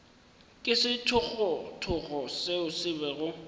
ke sethogothogo seo se bego